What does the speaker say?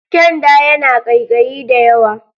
Kyanda yana ƙaiƙayi da yawa.